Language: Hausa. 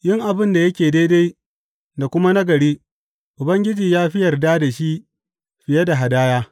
Yin abin da yake daidai da kuma nagari Ubangiji ya fi yarda da shi fiye da hadaya.